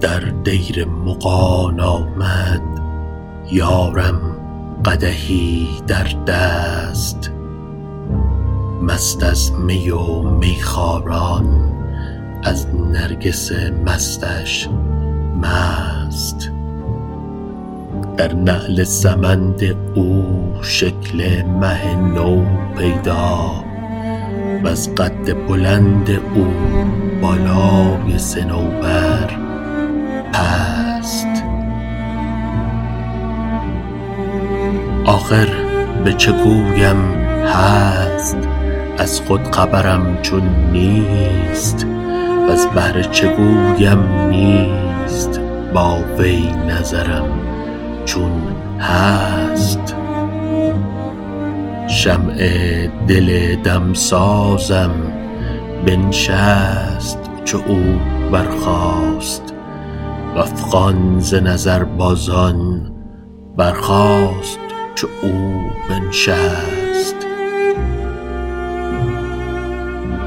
در دیر مغان آمد یارم قدحی در دست مست از می و میخواران از نرگس مستش مست در نعل سمند او شکل مه نو پیدا وز قد بلند او بالای صنوبر پست آخر به چه گویم هست از خود خبرم چون نیست وز بهر چه گویم نیست با وی نظرم چون هست شمع دل دمسازم بنشست چو او برخاست و افغان ز نظربازان برخاست چو او بنشست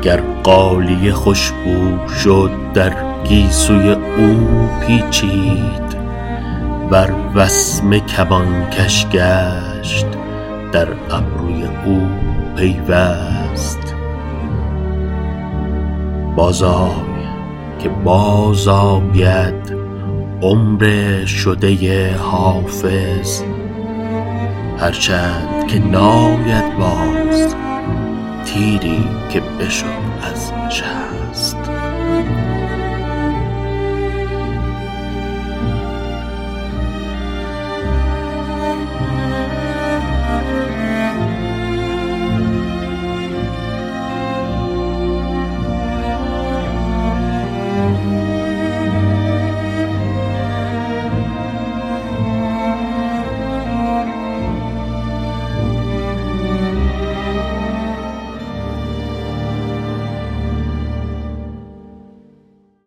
گر غالیه خوش بو شد در گیسوی او پیچید ور وسمه کمانکش گشت در ابروی او پیوست بازآی که بازآید عمر شده حافظ هرچند که ناید باز تیری که بشد از شست